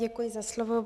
Děkuji za slovo.